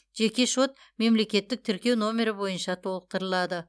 жеке шот мемлекеттік тіркеу нөмірі бойынша толықтырылады